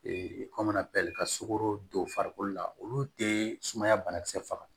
kɔmana pɛrɛni ka sogo don farikolo la olu tee sumaya banakisɛ faga